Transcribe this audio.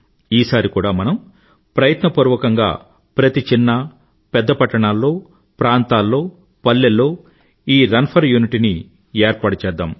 ఈసారి కూడా మనం ప్రయత్నపూర్వకంగా ప్రతి చిన్న పెద్ద పట్టణాల్లో ప్రాంతాల్లో పల్లెల్లో ఈ రన్ ఫర్ యూనిటీని ఏర్పాటుచేద్దాం